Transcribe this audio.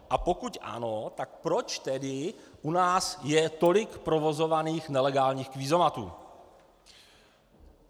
A pokud ano, tak proč tedy u nás je tolik provozovaných nelegálních kvízomatů.